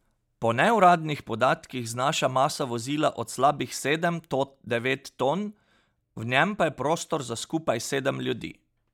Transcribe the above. Po neuradnih podatkih znaša masa vozila od slabih sedem to devet ton, v njem pa je prostor za skupaj sedem ljudi.